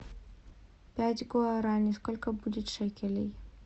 пять гуарани сколько будет шекелей